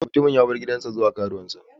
Mutumin ya bar gidansa zuwa ga karuwansa.